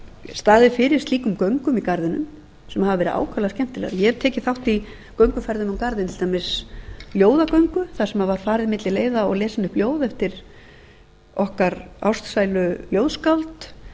staðið fyrir slíkum göngum í garðinum sem hafa verið ákaflega skemmtilegar ég hef tekið þátt í gönguferðum um garðinn til dæmis ljóðagöngu þar sem var farið milli leiða og lesin upp ljóð eftir okkar ástsælu ljóðskáld